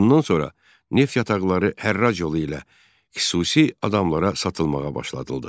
Bundan sonra neft yataqları hərrac yolu ilə xüsusi adamlara satılmağa başlanıldı.